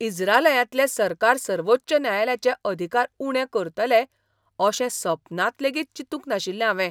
इज्रायलांतलें सरकार सर्वोच्च न्यायालयाचे अधिकार उणें करतले अशें सपनांत लेगीत चिंतूंक नाशिल्लें हांवें.